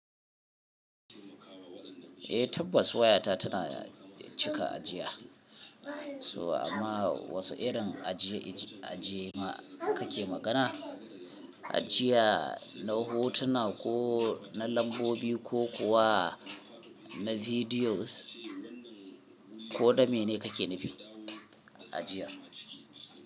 Eh tabbas wayata tana cika ajiya. So amma wasu irin ajiye, ajiye ma kake magana? Ajiya na hotuna, ko na lambobi, ko kuwa na videos, ko na mene kake nufi ajiyar?